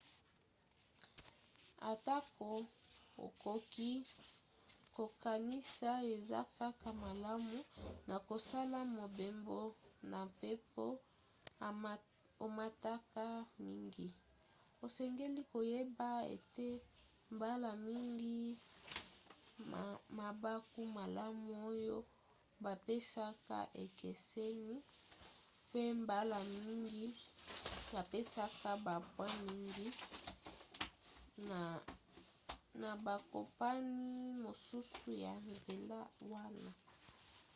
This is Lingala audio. atako okoki kokanisi eza kaka malamu na kosala mobembo na mpepo omataka mingi osengeli koyeba ete mbala mingi mabaku malamu oyo bapesaka ekeseni pe mbala mingi bapesaka bapoint mingi na bakompani mosusu ya nzela wana